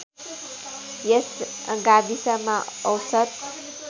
यस गाविसमा औसत